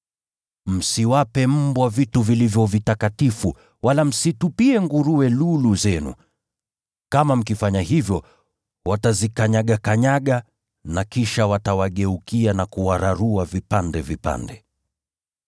“Msiwape mbwa vitu vilivyo vitakatifu; wala msitupie nguruwe lulu zenu. Kama mkifanya hivyo, watazikanyagakanyaga na kisha watawageukia na kuwararua vipande vipande.